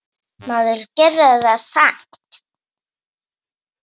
Maður gerði það samt.